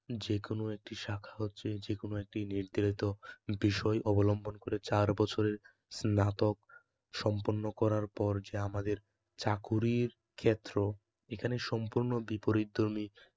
যেকোনো একটি শাখা হচ্ছে যে কোনো একটু নির্ধারিত বিষয় অবলম্বন করে চার বছরের স্নাতক সম্পন্ন করার পর যে আমাদের চাকুরীর ক্ষেত্র, এখানে সম্পূর্ণ বিপরীতধর্মী